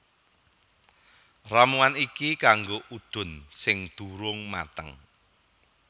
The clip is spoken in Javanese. Ramuan iki kanggo udun sing durung mateng